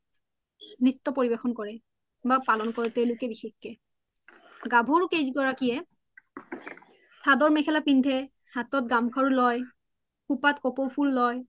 নিত্য্ পৰিবেখন কৰে বা পলন কৰে তেওলোকে বিষসকে গাভৰু গৰাকিয়ে সদৰ মেখেলা পিন্ধে হাতত গাম লয় পিন্ধে খুপাত কপৌ ফূল লয়